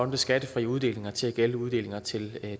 med skattefri uddelinger til at gælde uddelinger til